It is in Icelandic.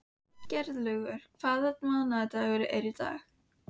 Geirlaugur, hvaða mánaðardagur er í dag?